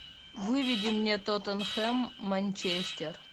выведи мне тоттенхэм манчестер